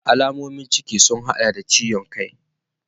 Alamomin ciki sun hada da ciwon kai.